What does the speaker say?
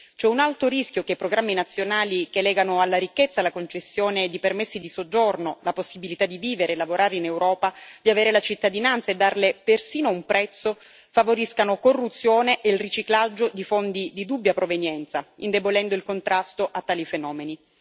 C'è un alto rischio che i programmi nazionali che legano alla ricchezza la concessione di permessi di soggiorno, la possibilità di vivere e lavorare in Europa, di avere la cittadinanza e darle persino un prezzo, favoriscano corruzione e riciclaggio di fondi di dubbia provenienza, indebolendo il contrasto a tali fenomeni.